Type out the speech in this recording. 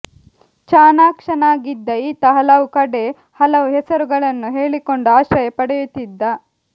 ಚಾಣಾಕ್ಷನಾಗಿದ್ದ ಈತ ಹಲವು ಕಡೆ ಹಲವು ಹೆಸರುಗಳನ್ನು ಹೇಳಿಕೊಂಡು ಆಶ್ರಯ ಪಡೆಯುತ್ತಿದ್ದ